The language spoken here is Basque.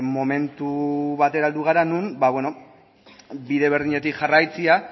momentu batera heldu gara non bide berdinetik jarraitzea